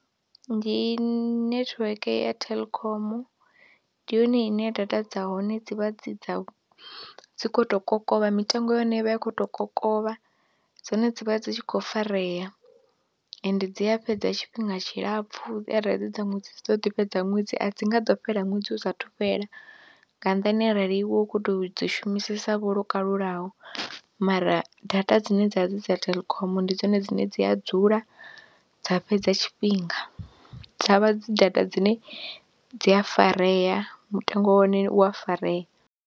Ndi netiweke ya Telkom, ndi yone ine data dza hone dzi vha dzi dza dzi khou tou kokovha, mitengo ya hone i vha i khou tou kokovha dzone dzi vha dzi tshi khou farea ende dzi a fhedza tshifhinga tshilapfhu arali dzi dza ṅwedzi dzi ḓo ḓi fhedza ṅwedzi a dzi nga ḓo fhela ṅwedzi u satahu fhela nga nnḓani arali iwe u khou tou dzi shumisesavho lwo kalulaho mara data dzine dza vha dzi dza Telkom ndi dzone dzine dzi a dzula dza fhedza tshifhinga, dza vha dzi data dzine dzi a farea mutengo wa hone u a farea.